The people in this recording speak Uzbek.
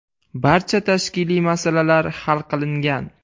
Barcha tashkiliy masalalar hal qilingan.